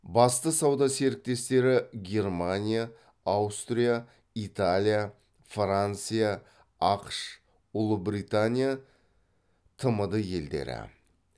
басты сауда серіктестері германия аустрия италия франция ақш ұлыбритания тмд елдері